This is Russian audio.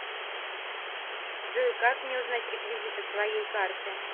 джой как мне узнать реквизиты своей карты